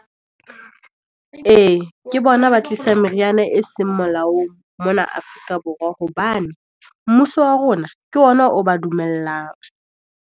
E, ke bona ba tlisa meriana e seng molaong, mona Afrika Borwa, hobane mmuso wa rona ke ona o ba dumelang.